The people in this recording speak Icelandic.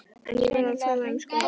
En ég verð að tala um skólann.